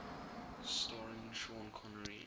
starring sean connery